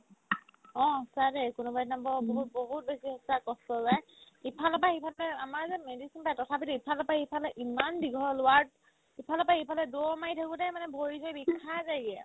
অ, সঁচা দেই কোনোবাদিনা বৰ বহুত বহুত বেছি সঁচাই কষ্ট যায় ইফালৰ পাই সিফালে আমাৰ যে medicine পাই তথাপিতো ইফালৰ পাই সিফালে ইম্মান দীঘল ward ইফালৰ পাই সিফালে দৌৰ মাৰি থাকোতে মানে ভৰি-চৰি বিষাই যায়গে